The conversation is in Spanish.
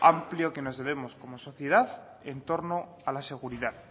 amplio que nos debemos como sociedad entorno a la seguridad